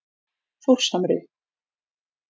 Þórshamri